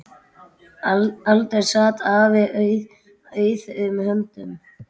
Aldrei sat afi auðum höndum.